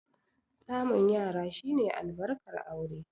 Samun yara shi ne albarkar aure.